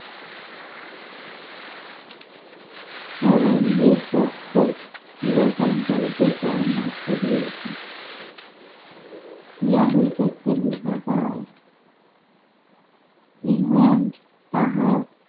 পক্ষ গ্রহণ করিতে পরামর্শ দিয়েছে বোঝা যায় ইংল্যান্ড